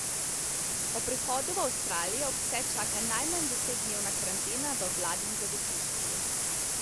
Ob prihodu v Avstralijo pse čaka najmanj desetdnevna karantena v vladnem zavetišču.